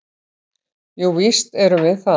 """Jú, víst erum við það."""